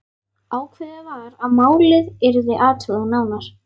Ákveðið var að málið yrði athugað nánar.